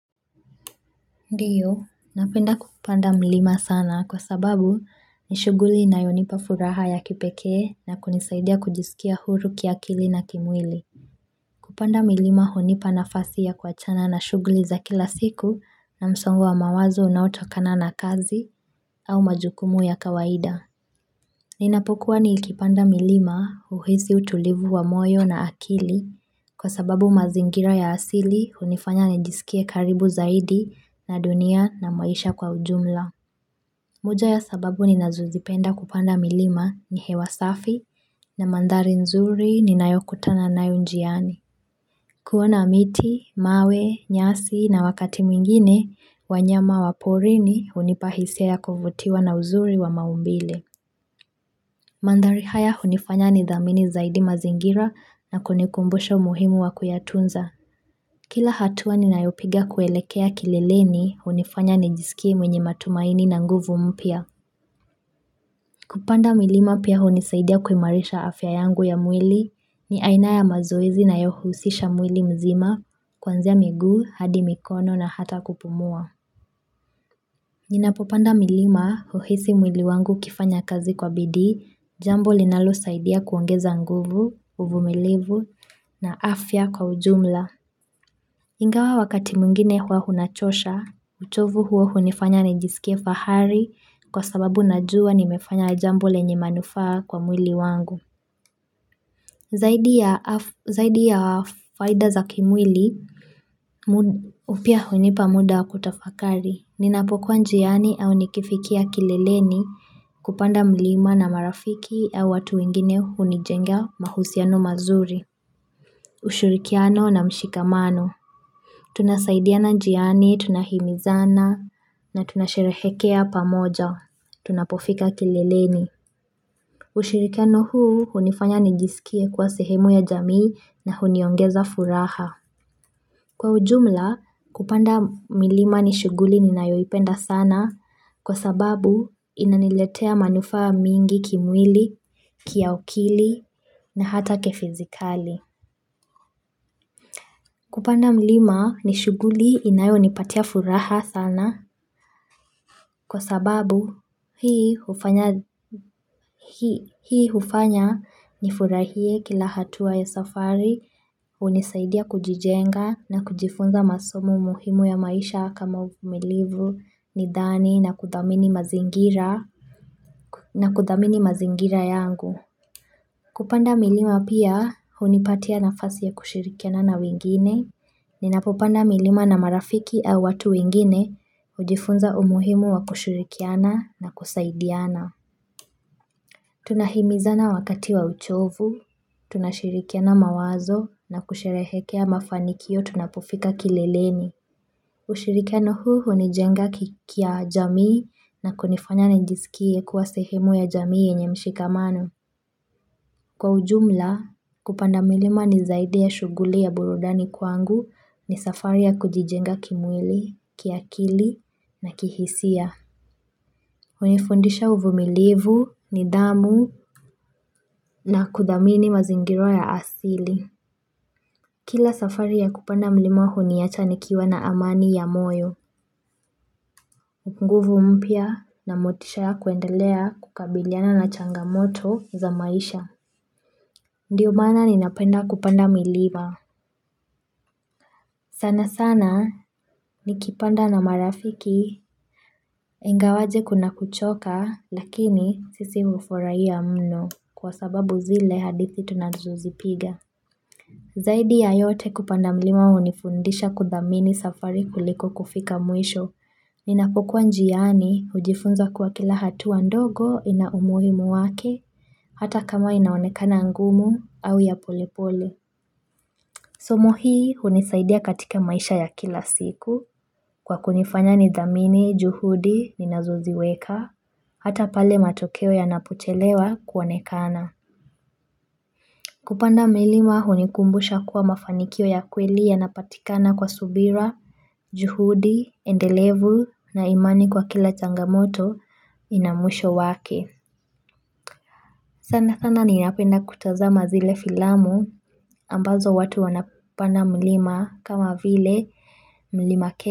Ndio, napenda kupanda mlima sana kwa sababu ni shughuli inayo nipa furaha ya kipekee na kunisaidi ya kujisikia huru kiakili na kimwili. Kupanda milima hunipa nafasi ya kuachana na shughuli za kila siku na msongo wa mawazo unaotokana na kazi au majukumu ya kawaida. Ninapokuwa nikipanda milima huhisi utulivu wa moyo na akili kwa sababu mazingira ya asili hunifanya nijisikie karibu zaidi na dunia na maisha kwa ujumla. Moja ya sababu ninazozipenda kupanda milima ni hewa safi na mandhari nzuri ninayokutana nayo njiani. Kuoana miti, mawe, nyasi na wakati mwingine wanyama wa porini hunipa hisia kuvutiwa na uzuri wa maumbile. Mandhari haya hunifanya nithamini zaidi mazingira na kunikumbusha muhimu wa kuyatunza. Kila hatua ninayopiga kuelekea kilileni hunifanya nijiskie mwenye matumaini na nguvu mpya. Kupanda milima pia hunisaidia kumarisha afya yangu ya mwili ni aina ya mazoezi inayohusisha mwili mzima kwanzia miguu, hadi mikono na hata kupumua. Nina popanda milima huhisi mwili wangu ukifanya kazi kwa bidii jambo ninalo saidia kuongeza nguvu, uvumilivu na afya kwa ujumla. Ingawa wakati mwingine hua hunachosha, uchovu huo huninifanya nijisikie fahari kwa sababu najua nimefanya jambo lenye manufaa kwa mwili wangu. Zaidi ya faida za kimwili, pia hunipa muda kutafakari. Ninapo kuwa njiani au nikifikia kileleni kupanda milima na marafiki au watu wengine hunijengea mahusiano mazuri. Ushirikiano na mshikamano, tunasaidiana njiani, tunahimizana, na tunasherehekea pamoja, tunapofika kileleni. Ushirikiano huu, hunifanya nijisikie kwa sehemu ya jamii na huniongeza furaha. Kwa ujumla, kupanda milima nishughuli ninayoipenda sana kwa sababu inaniletea manufaa mingi kimwili, kiakili, na hata kifizikali. Kupanda mlima ni shuguli inayo nipatia furaha sana kwa sababu hii hufanya Hii hufanya nifurahie kila hatua ya safari, hunisaidia kujijenga na kujifunza masomo muhimu ya maisha kama umilivu, nidhani na kudhamini mazingira yangu. Kupanda milima pia hunipatia nafasi ya kushirikiana na wengine, ninapopanda milima na marafiki au watu wengine, hujifunza umuhimu ya kushirikiana na kusaidiana. Tunahimizana wakati wa uchovu, tunashirikiana mawazo na kusherehekea mafanikio tunapofika kileleni. Ushirikiano huu huni jenga kiki ya jamii na kunifanya nijisikie kuwa sehemu ya jamii yenye mshikamano. Kwa ujumla, kupanda milima ni zaidi ya shughuli ya burudani kwangu ni safari ya kujijenga kimwili, kiakili, na kihisia. Hunifundisha uvumilivu, nidhamu, na kudhamini mazingira ya asili. Kila safari ya kupanda mlima huniacha nikiwa na amani ya moyo. Nguvu mpya na motisha ya kuendalea kukabiliana na changamoto za maisha. Ndio maana ninapenda kupanda milima. Sana sana, ni kipanda na marafiki, ingawaje kuna kuchoka lakini sisi hufurahia mno kwa sababu zile hadithi tunazozipiga. Zaidi ya yote kupanda milima hunifundisha kudhamini safari kuliko kufika mwisho. Ninapo kuwa njiani hujifunza kwa kila hatua ndogo ina umuhimu wake. Hata kama inaonekana ngumu au ya polepole. Somo hii hunisaidia katika maisha ya kila siku. Kwa kunifanya nidhamini, juhudi ninazoziweka. Hata pale matokeo ya yanapochelewa kuonekana. Kupanda milima hunikumbusha kwa mafaniko ya kweli yanapatikana kwa subira, juhudi, endelevu, na imani kwa kila changamoto inamwisho wake. Sana sana, ninapenda kutazama zile filamu. Ambazo watu wana penda milima kama vile milima ke.